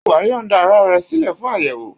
Ṣé wàá́ yọ̀ǹda ara rẹ sílẹ̀ fún àyẹ̀wò?